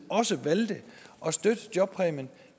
også valgte at støtte jobpræmien